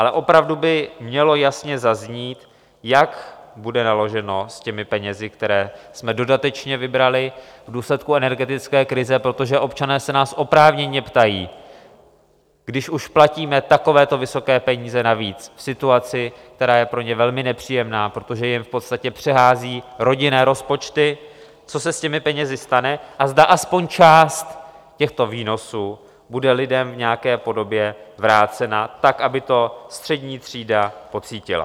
Ale opravdu by mělo jasně zaznít, jak bude naloženo s těmi penězi, které jsme dodatečně vybrali v důsledku energetické krize, protože občané se nás oprávněně ptají, když už platíme takovéto vysoké peníze navíc v situaci, která je pro ně velmi nepříjemná, protože jim v podstatě přehází rodinné rozpočty, co se s těmi penězi stane a zda aspoň část těchto výnosů bude lidem v nějaké podobě vrácena tak, aby to střední třída pocítila.